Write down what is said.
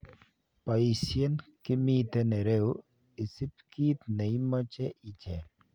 Poisien kiimiten irou isip kit neimoche icheng.